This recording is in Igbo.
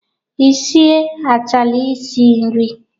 Ị sie chaala isi nri?